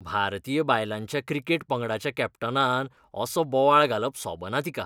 भारतीय बायलांच्या क्रिकेट पंगडाच्या कॅप्टनान असो बोवाळ घालप सोबना तिका.